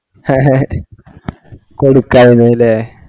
കൊടുക്കായിരുന്നലെ